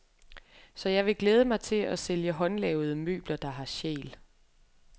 Så jeg vil glæde mig til at sælge håndlavede møbler, der har sjæl.